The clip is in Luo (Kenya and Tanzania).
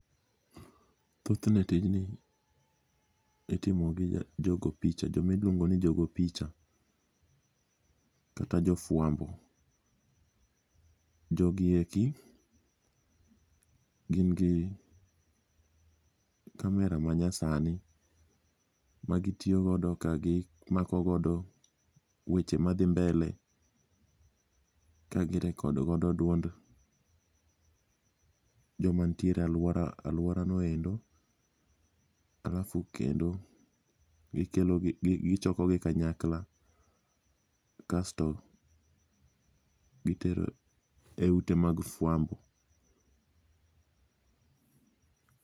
Thothne tijni itimogi jogo picha jomiluongo ni jogo picha kata jofwambo. Jogi eki gin gi kamera manyasani magitiyogodo ka gimakogodo weche madhi mbele kagi record godo duond joma ntiere e alworano endo alafu kendo gichokogi kanyakla kasto gitero e ute mag fwambo.